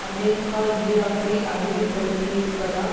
America ஈராக்கை அடிமைப்படுத்தியிருப்பதால்